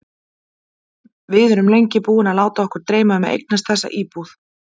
Við erum lengi búin að láta okkur dreyma um að eignast þessa íbúð.